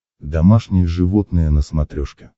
домашние животные на смотрешке